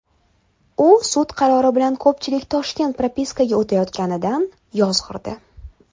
U sud qarori orqali ko‘pchilik Toshkent propiskaga o‘tayotganidan yozg‘irdi.